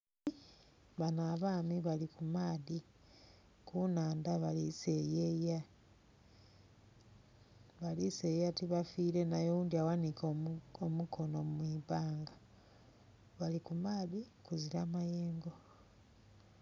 Bano abami bali ku maadhi kunhandha bali seyeya, baliseyeya tibafire nayo oghundhi aghanike omukono mwi banga bali ku maadhi kuzira mayengo.